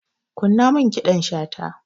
Kunna min ƙidan shata.